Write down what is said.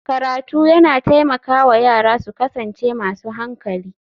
Karatu yana taimaka wa yara su kasance masu hankali